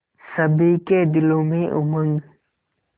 सभी के दिलों में उमंग